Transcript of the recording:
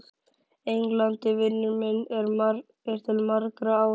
Englandi, vinur minn til margra ára.